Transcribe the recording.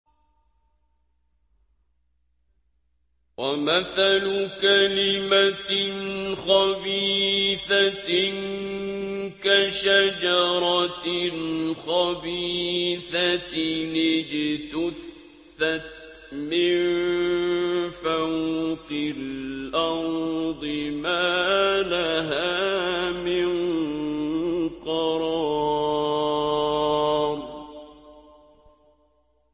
وَمَثَلُ كَلِمَةٍ خَبِيثَةٍ كَشَجَرَةٍ خَبِيثَةٍ اجْتُثَّتْ مِن فَوْقِ الْأَرْضِ مَا لَهَا مِن قَرَارٍ